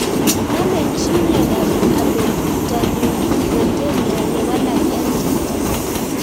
Namei chii miondop Abetalipoproteinemia ye walak MTTP